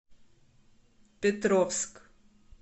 петровск